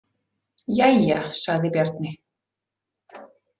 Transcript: Jæja, sagði Bjarni.